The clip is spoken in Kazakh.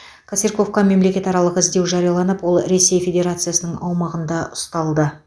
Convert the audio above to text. косырьковқа мемлекет аралық іздеу жарияланып ол ресей федерациясының аумағында ұсталды